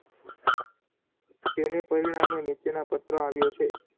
તેણે પરિણામે નીચેનાં પત્ર આવ્યો છે.